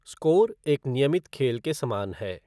Score एक नियमित खेल के समान है।